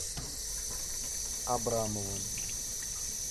абрамовым